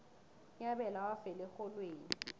unyabela wafela erholweni